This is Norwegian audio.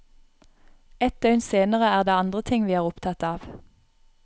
Et døgn senere er det andre ting vi er opptatt av.